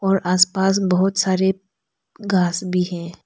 और आसपास बहुत सारे घास भी है।